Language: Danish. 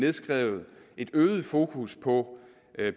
indskrevet et øget fokus på